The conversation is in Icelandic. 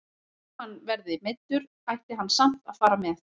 Þó hann verði meiddur ætti hann samt að fara með.